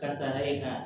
Kasara ye ka